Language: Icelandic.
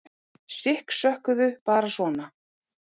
Sikksökkuðu bara svona.